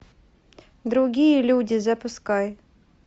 другие люди запускай